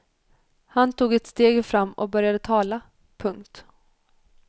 Han tog ett steg fram och började tala. punkt